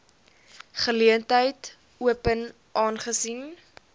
geleentheid open aangesien